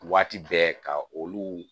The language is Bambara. Waati bɛɛ ka olu